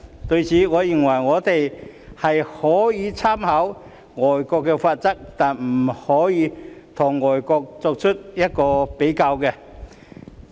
對此，我認為我們可以參考外國的罰則，但不可以與外國比較。